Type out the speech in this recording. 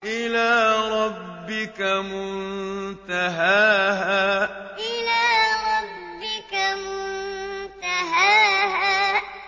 إِلَىٰ رَبِّكَ مُنتَهَاهَا إِلَىٰ رَبِّكَ مُنتَهَاهَا